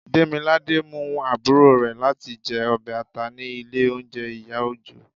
demilade mú aburo rẹ latí jẹ ọbẹ ata ni ilé oúnjẹ iya ojo